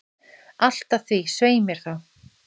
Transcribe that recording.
Allt að því, svei mér þá!